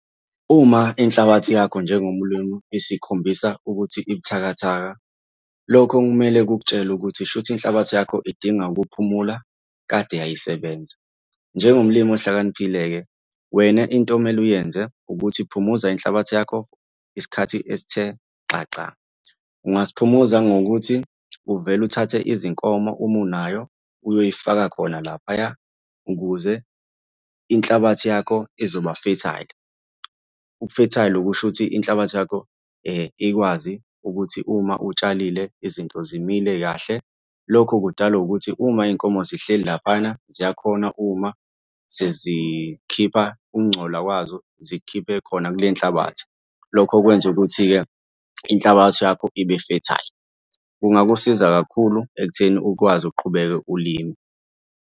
Uma inhlabathi yakho njengomlimi isikhombisa ukuthi ibuthakathaka, lokho kumele kukutshele ukuthi shuthi inhlabathi yakho idinga ukuphumula, kade yayisebenza. Njengomlimi ohlakaniphile-ke, wena into okumele uyenze ukuthi phumuza inhlabathi yakho isikhathi esithe xaxa. Ungasiphumuza ngokuthi uvele uthathe izinkomo uma unayo uyoyifaka khona laphaya, ukuze inhlabathi yakho izoba-fertile. Ubu-fertile kusho ukuthi inhlabathi yakho ikwazi ukuthi uma utshalile izinto zimile kahle. Lokho kudalwa ukuthi uma iy'nkomo zihleli laphayana, ziyakhona uma sezikhipha ukungcola kwazo zikukhiphe khona kule nhlabathi. Lokho kwenza ukuthi-ke inhlabathi yakho ibe fertile. Kungakusiza kakhulu ekutheni ukwazi ukuqhubeka ulime.